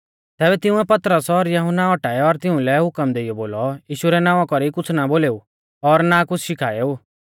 तैबै तिंउऐ पतरस और यहुन्ना औटाऐ और तिउंलै हुकम देइयौ बोलौ यीशु रै नावां कौरी कुछ़ ना बोलेऊ और ना कुछ़ शिखाऐ ऊ